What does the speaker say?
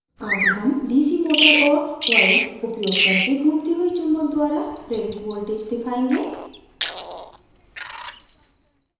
आगे हम dc motor और coils उपयोग करके घूमती हुई चुम्बक द्वारा प्रेरित voltage दिखायेंगे